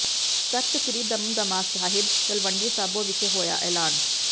ਤਖਤ ਸ੍ਰੀ ਦਮਦਮਾ ਸਾਹਿਬ ਤਲਵੰਡੀ ਸਾਬੋ ਵਿਖੇ ਹੋਇਆ ਐਲਾਨ